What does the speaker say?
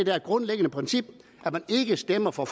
grundlæggende princip at man ikke stemmer for